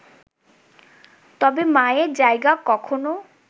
তবে মায়ের জায়গা কখনো